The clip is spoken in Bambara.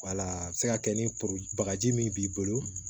a bɛ se ka kɛ ni bagaji min b'i bolo